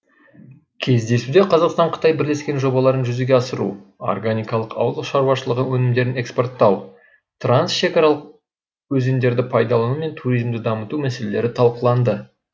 кездесуде қазақстан қытай бірлескен жобаларын жүзеге асыру органикалық ауыл шаруашылығы өнімдерін экспорттау трансшекаралық өзендерді пайдалану мен туризмді дамыту мәселелері талқыланды